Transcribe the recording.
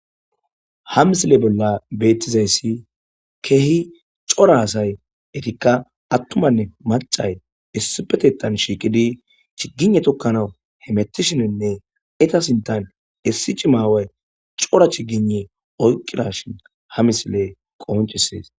ha misile bolla beettizayssi keehi cora asay etikka attumanne macay issipetetan shiiqidi chiggine tokkana hemettishinenne eta sintan issi cimaaway cora chigine oyqirashin ha misile qohonchisees